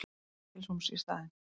Stykkishólms í staðinn.